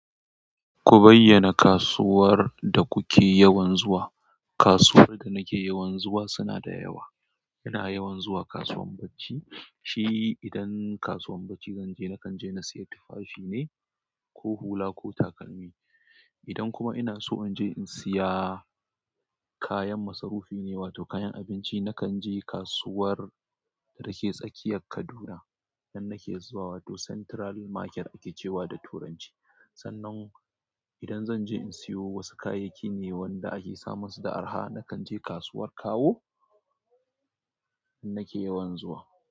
Ku bayyana kasuwar da kuke yawan zuwa. Kasuwar da nake yawan zuwa suna da yawa. Ina yawan zuwa kasuwan bacci. Shi idan kasuwan bacci zanje nakan je na siya tufafi ne ko hula ko takalmi. Idan kuma ina so in je in siya kayan masarufi ne wato kayan abinci, nakan je kasuwar da yake tsakiyar Kaduna. Nan nake zuwa wato Central Market ake cewa da turanci. Sannan idan zan je in siyo wasu kayayyaki ne wanda ake samun su da araha, nakan je kasuwar kawo nake yawan zuwa.